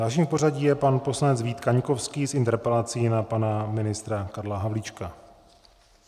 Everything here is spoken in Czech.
Dalším v pořadí je pan poslanec Vít Kaňkovský s interpelací na pana ministra Karla Havlíčka.